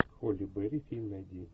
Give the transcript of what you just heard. холли берри фильм найди